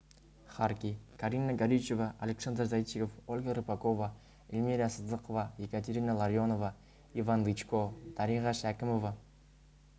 харки карина горичева александр зайчиков ольга рыпакова эльмира сыздықова екатерина ларионова иван дычко дариға шәкімова